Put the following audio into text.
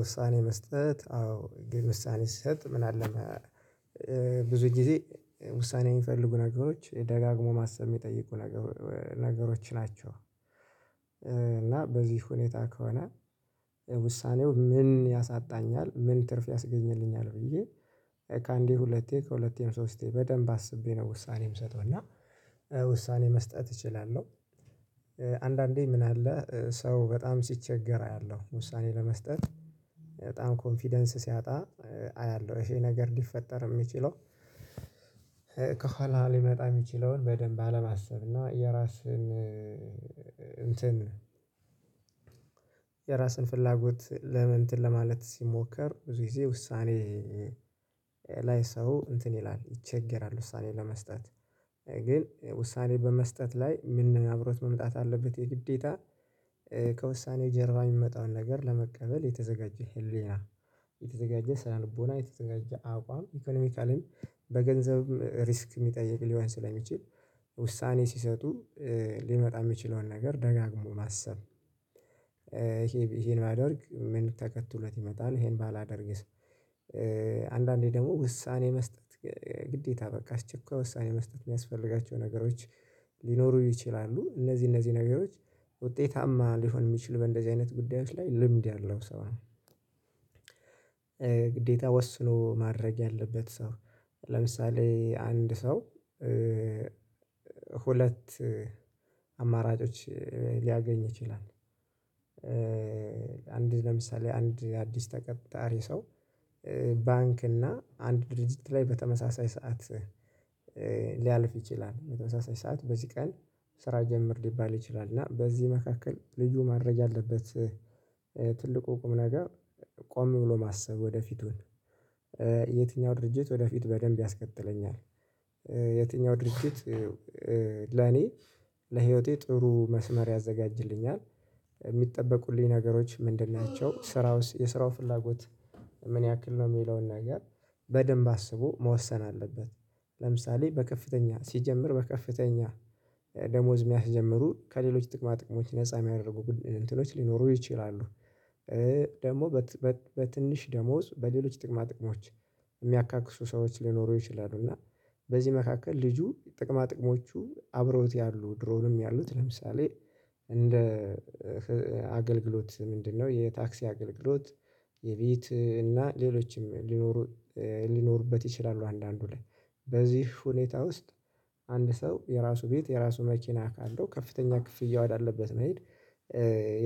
ውሳኔ መስጠት። አዎ ግን ውሳኔ ስሰጥ ምን አለ ብዙ ጊዜ ውሳኔ የሚፈልጉ ነገሮች ደጋግሞ ማሰብ የሚጠይቁ ነገሮች ናቸው። እና በዚህ ሁኔታ ከሆነ ውሳኔው ምን ያሳጣኛል ምን ትርፍ ያስገኝልኛል ብዬ ከአንዴ ሁለቴ ከሁለቴም ሶስቴ በደንብ አስቤ ነው ውሳኔ የምሰጠው። እና ውሳኔ መስጠት እችላለሁ። አንዳንዴ ምን አለ ሰው በጣም ሲቸገር አያለሁ። ውሳኔ ለመስጠት በጣም ኮንፊደንስ ሲያጣ አያለሁ። ይሄ ነገር ሊፈጠር የሚችለው ከኋላ ሊመጣ የሚችለውን በደንብ አለማሰብ እና የራስህን እንትን የራስን ፍላጎት እንትን ለማለት ሲሞከር ብዙ ጊዜ ውሳኔ ላይ ሰው እንትን ይላል። ይቸገራል ውሳኔ ለመስጠት። ግን ውሳኔ በመስጠት ላይ ምን አብሮት መምጣት አለበት የግዴታ ከውሳኔ ጀርባ የሚመጣውን ነገር ለመቀበል የተዘጋጀህ ህሊና፣ የተዘጋጀ ሳህን ቦና የተዘጋጀ አቋም፣ ኢኮኖሚካሊም በገንዘብ ሪስክ የሚጠይቅ ሊሆን ስለሚችል ውሳኔ ሲሰጡ ሊመጣ የሚችለውን ነገር ደጋግሞ ማሰብ። ይሄን ባደርግ ምን ተከትሎት ይመጣል? ይሄን ባላደርግስ አንዳንዴ ደግሞ ውሳኔ መስጠት ግዴታ በቃ አስቸኳይ ውሳኔ መስጠት የሚያስፈልጋቸው ነገሮች ሊኖሩ ይችላሉ። እነዚህ እነዚህ ነገሮች ውጤታማ ሊሆን የሚችል በእንደዚህ አይነት ጉዳዮች ላይ ልምድ ያለው ሰው ነው ግዴታ ወስኖ ማድረግ ያለበት ሰው። ለምሳሌ አንድ ሰው ሁለት አማራጮች ሊያገኝ ይችላል። ለምሳሌ አንድ አዲስ ተቀጣሪ ሰው ባንክ እና አንድ ድርጅት ላይ በተመሳሳይ ሰዓት ሊያልፍ ይችላል። በተመሳሳይ ሰዓት በዚህ ቀን ስራ ጀምር ሊባል ይችላል። እና በዚህ መካከል ልጁ ማድረግ ያለበት ትልቁ ቁም ነገር ቆም ብሎ ማሰብ ወደፊቱን። የትኛው ድርጅት ወደፊት በደንብ ያስቀጠለኛል? የትኛው ድርጅት ለኔ ለህይወቴ ጥሩ መስመር ያዘጋጅልኛል? የሚጠበቁልኝ ነገሮች ምንድን ናቸው? ስራውስ የስራው ፍላጎት ምን ያክል ነው የሚለውን ነገር በደንብ አስቦ መወሰን አለበት። ለምሳሌ ሲጀምር በከፍተኛ ደሞዝ የሚያስጀምሩ ከሌሎች ጥቅማ ጥቅሞች ነፃ የሚያደርጉ እንትኖች ሊኖሩ ይችላሉ። ደግሞ በትንሽ ደሞዝ በሌሎች ጥቅማ ጥቅሞች የሚያካክሱ ሰዎች ሊኖሩ ይችላሉ እና በዚህ መካከል ልጁ ጥቅማ ጥቅሞቹ አብረውት ያሉ ድሮውንም ያሉት ለምሳሌ እንደ አገልግሎት ምንድነው? የታክሲ አገልግሎት፣ የቤት እና ሌሎችም ሊኖሩ ሊኖሩበት ይችላሉ አንዳንዱ ላይ። በዚህ ሁኔታ ውስጥ አንድ ሰው የራሱ ቤት የራሱ መኪና ካለው ከፍተኛ ክፍያ ውሃ አለበት መሄድ